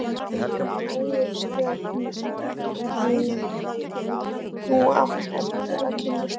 Hann er æðislega fínn. þú átt eftir að kynnast honum.